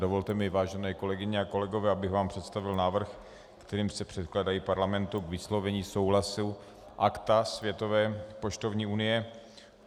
Dovolte mi, vážené kolegyně a kolegové, abych vám představil návrh, kterým se předkládají Parlamentu k vyslovení souhlasu Akta Světové poštovní unie.